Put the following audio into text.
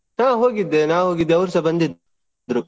ಹಾ ಹೋಗಿದ್ದೆ ನಾನ್ ಹೋಗಿದ್ದೆ ಅವ್ರುಸಾ ಬಂದಿದ್ರು.